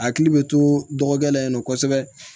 Akili bɛ to dɔgɔkɛ la yen nɔ kosɛbɛ